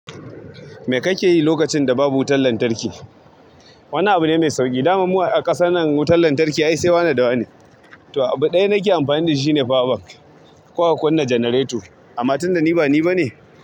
Me ka ke yi lokacin da babu wutan lantarki? Wani abu ne mai sauƙi. Damam muwa a ƙasan nan, wutan lantarki ai sai wane da wane. To abu ɗaya da nake amfani da shi shi ne power bank ko a kunna generator. Amma tun da ni ba ni ba ne.